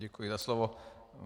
Děkuji za slovo.